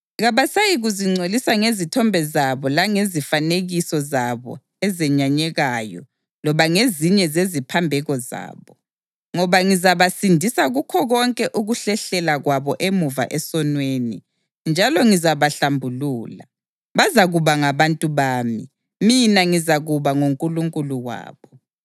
Kabasayikuzingcolisa ngezithombe zabo langezifanekiso zabo ezenyanyekayo loba ngezinye zeziphambeko zabo, ngoba ngizabasindisa kukho konke ukuhlehlela kwabo emuva esonweni, njalo ngizabahlambulula. Bazakuba ngabantu bami, mina ngizakuba nguNkulunkulu wabo.